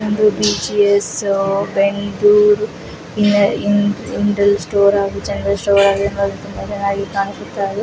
ಇದೊಂದು BGS Bendur general store